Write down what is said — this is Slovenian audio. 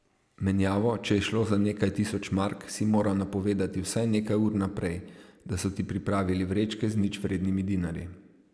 Menjavo, če je šlo za nekaj tisoč mark, si moral napovedati vsaj nekaj ur vnaprej, da so ti pripravili vrečke z ničvrednimi dinarji.